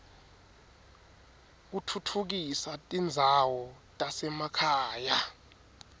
kutfutfukisa tindzawo tasemakhaya